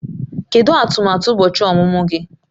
Kedu atụmatụ ụbọchị ọmụmụ gị?